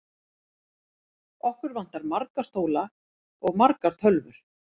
Okkur vantar marga stóla og margar tölvur.